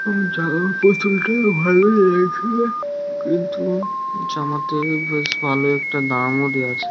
এবং জামা পুতুলটি ভালো লেগেছে কিন্ত জামাতে বেশ ভালো একটা নাম ও দেওয়া আছে।